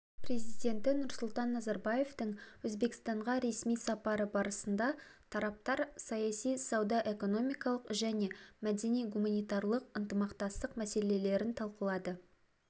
президенті нұрсұлтан назарбаевтың өзбекстанға ресми сапары барысында тараптар саяси сауда-экономикалық және мәдени-гуманитарлық ынтымақтастық мәселелерін талқылады